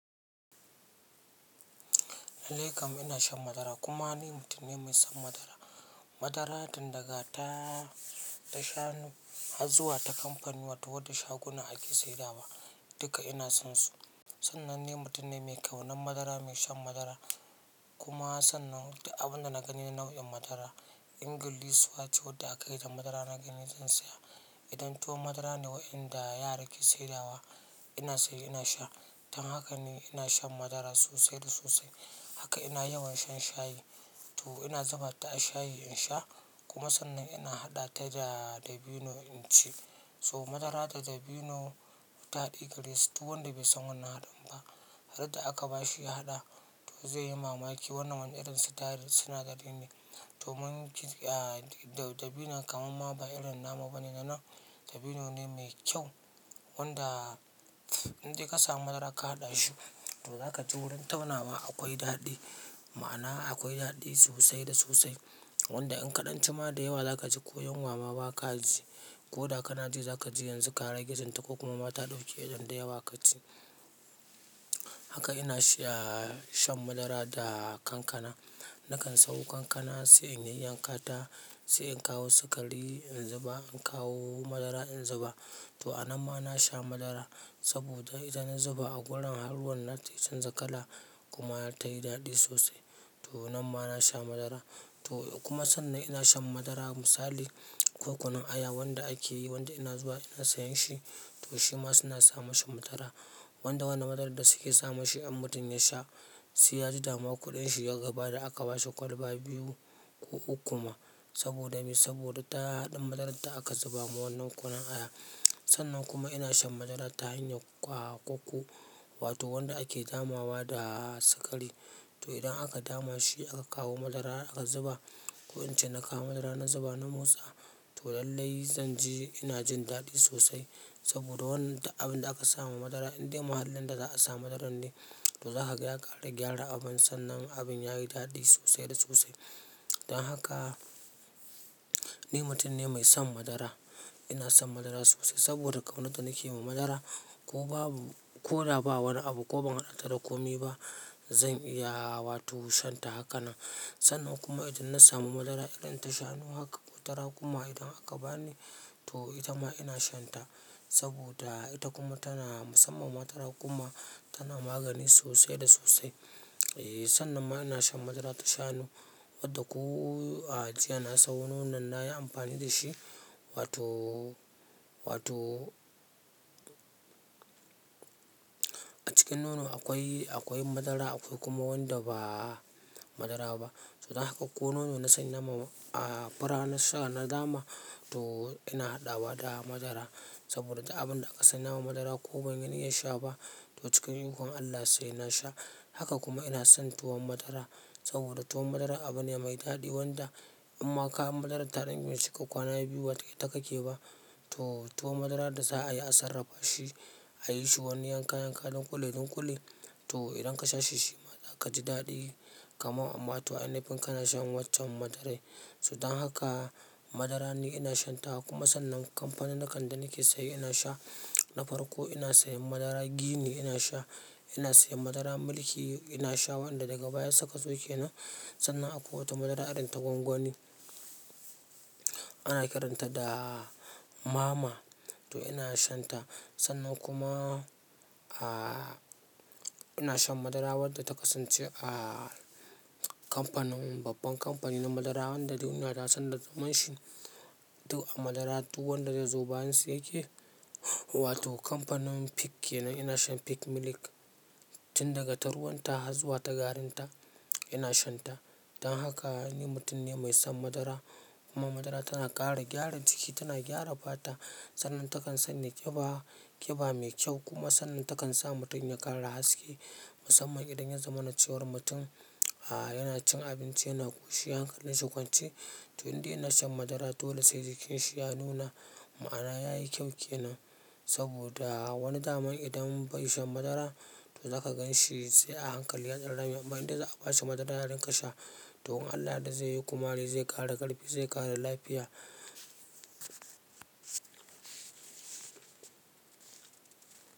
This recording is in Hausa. Lallai kam ina shan madara kuma ni mutum ne mai son madara. Madara tunda ta, ta shanu, har zuwa, ta kamfanuwa, wato wadda shaguna ake sayarwa, duka ina sonsu. Sannan ni mutum ne mai ƙau nan madara, mai shan madara kuma sannan abin da na gani nau'in madara Ingillisuwa ce wadda aka yi da madara na gani zan saya. Idan tuwo madara ne waɗanda yara ke saidawa, ina sayi ina sha. Dan haka ne ina shan madara sosai da sosai. Haka ina yawan shan shayi. To ina zuba ta a shayi in sha kuma sannan ina haɗa ta da dabino in ci. To madara da dabino taɗi garesu. Duk wanda bai san wannan haɗin ba, randa aka ba shi ya haɗa, to zai yi mamaki wannan wani irin sitayil suna da dindi. To mun dabino kamar ma ba irin namu ba ne nan. Dabino ne mai kyau wanda in dai ka samu madara ka haɗa shi, to za ka ji wurin tauna wa akwai daɗi. Ma'ana akwai daɗi sosai da sosai. Wanda in ka ɗan cima da yawa za ka ji ko yuwa ma ba kaji ko da kana ji za ka ji yanzu kara ge ji ta ko kuma mata ɗauke idan da yawa ka ci. Haka ina sha shan madara da kankana. Na kan sok kankana sai in yan yankata, sai in kawo sukari in zuba, in kawo madara in zuba. To a nan ma na sha madara saboda idan na zuba a gurin har ruwan nata ya canza kala kuma ta yi daɗi sosai. To nan ma na sha madara. To kuma sannan ina shan madara misali, kokunun aya wanda ake yi wanda ina zuwa ina sayan shi, to shi ma suna sa mashi madara. Wanda wannan madarar da suke sa mashi in mutum ya sha, sai ya ji dama kuɗin shi ya gabar da aka ba shi kwalba biyu ko uku ma saboda me? Saboda ta haɗin madarar da aka zuba ma wannan kunun aya. Sannan kuma ina shan madara ta hanyar ƙwaƙwaku wato wanda ake damawa da sukari. To idan aka dama shi aka kawo madara aka zuba, ko in ce na kawo madara na zuba na motsa, to lallai zanji ina jin daɗi sosai saboda wannan duk abin da aka sa ma madara inda mahallin da za a sa madaran ne, to za ka ga ya ƙara gyara abin sannan abin yayi daɗi sosai da sosai. Dan haka ni mutum ne mai son madara. Ina son madara sosai saboda ƙaunada nake ma madara ko babu, ko da ba wani abu ko ban haɗata da komai ba, zan iya wato shan ta hakanan. Sannan kuma idan na samu madara irin ta shanu haka, tara kuma idan aka bani, to ita ma ina shan ta saboda ita kuma tana musamman madara kuma tana magani sosai da sosai. Eeh, sannan ma ina shan madara ta shanu wadda ko a jiya na sayo. Nono na yi amfani da shi wato, wato a cikin nono akwai, akwai madara akwai kuma wanda ba madara ba. To dan haka ko nono na sayi nama a, a fura na sha na dama to ina haɗa wa da madara saboda duk abin da aka sanya wa madara ko ban yi niyya sha ba, to cikin ikon Allah sai na sha. Haka kuma ina son tuwon madara saboda tuwon madara abu ne mai daɗi wanda in ma ka yan madarar tare da in bai cika kwana biyu wato ba ita kake ba, to tuwo madara da za a yi a sarrafa shi, a yi shi wani yanka yanka duƙule duƙule, to idan ka sha shi shi ma za ka ji daɗi kamar amma to in yanzu kin kana shan waccan madarar. So dan haka madara ni ina shan ta kuma sannan kamfanin na kan da nake saye ina sha. Na farko ina sayan madara gini ina sha, ina sayan madara mulki ina sha wanda daga baya suka zo ke nan. So dan haka madara ni ina shan ta kuma sannan kamfanin na kan da nake saye ina sha. Na farko ina sayan madara gini ina sha, ina sayan madara mulki ina sha wanda daga baya suka zo ke nan. Sannan akwai wata madara irin ta gwangwani. Sannan kuma, ah, ina shan madara wadda ta kasance a kamfanin, babban kamfani na madara wanda duniya ta san da sunan shi. To a madara duk wanda ya zo bayin su yake wato kamfanin Peak yana. Ina shan Peak milk tun daga taruwanta har zuwa ta garinta ina shan ta dan haka ni mutum ne mai son madara kuma madara tana ƙara gyara jiki, tana gyara fata. Sannan takan sanya ƙiba, ƙiba mai kyau kuma sannan takan sa mutum ya ƙara haske musamman idan ya zama na cewar mutum, a, yana cin abinci yana ƙoshi hankalin shi ƙwance. To inde ya na shan madara dole se jikin shi ya nuna ma'ana ya yi kyau ke nan saboda wani daman idan bai shan madara, to za ka gan shi sai a hankali yadan rame amma idan za a ba shi madara yarin ga sha, to in Allah ya yarda zai yi ƙumari zai ƙara ƙarfi zai ƙara lafiya.